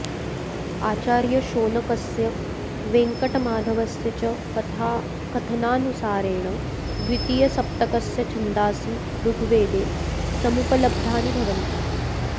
आचार्यशोनकस्य वेङ्कटमाधवस्य च कथनानुसारेण द्वितीयसप्तकस्य छन्दासि ऋग्वेदे समुपलब्धानि भवन्ति